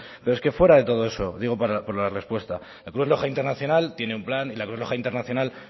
pero es que fuera de todo eso digo por la respuesta la cruz roja internacional tiene un plan y la cruz roja internacional